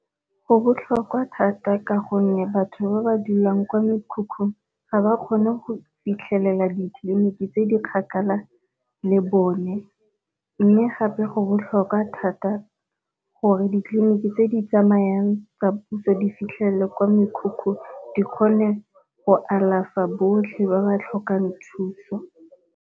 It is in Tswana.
Go botlhokwa thata ka gonne batho ba ba dulang kwa mekhukhung ga ba kgone go fitlhelela ditleliniki tse di kgakala le bone, mme gape go botlhokwa thata gore ditleliniki tse di tsamayang tsa puso di fitlhelele kwa mekhukhung di kgone go alafa botlhe ba ba tlhokang thuso.